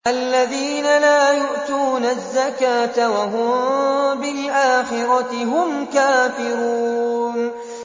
الَّذِينَ لَا يُؤْتُونَ الزَّكَاةَ وَهُم بِالْآخِرَةِ هُمْ كَافِرُونَ